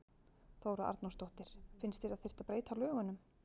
Þóra Arnórsdóttir: Finnst þér að þyrfti að breyta lögunum?